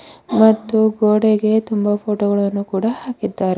ಮತ್ತು ಗೋಡೆಗೆ ತುಂಬಾ ಫೋಟೋ ಗಳನ್ನು ಕೂಡ ಹಾಕಿದ್ದಾರೆ.